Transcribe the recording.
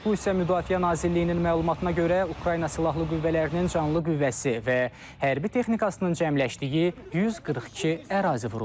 Bu isə Müdafiə Nazirliyinin məlumatına görə, Ukrayna Silahlı Qüvvələrinin canlı qüvvəsi və hərbi texnikasının cəmləşdiyi 142 ərazi vurulub.